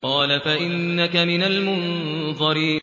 قَالَ فَإِنَّكَ مِنَ الْمُنظَرِينَ